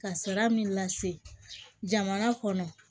Ka sara min lase jamana kɔnɔ